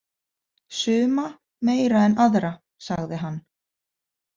Suma meira en aðra, sagði hann.